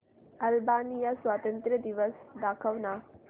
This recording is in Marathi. अल्बानिया स्वातंत्र्य दिवस दाखव ना